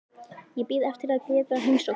Ég bíð eftir að geta heimsótt þig.